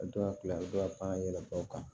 yɛlɛma u kan